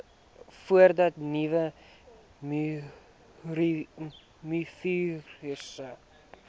voordat nuwe mivirusse